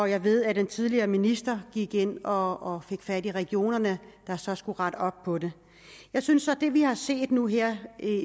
jeg ved at den tidligere minister gik ind og fik fat i regionerne der så skulle rette op på det jeg synes så at det vi har set nu her